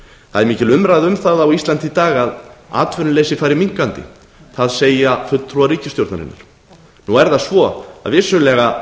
það er mikil umræða um það á íslandi í dag að atvinnuleysi fari minnkandi það segja fulltrúar ríkisstjórnarinnar nú er það svo að vissulega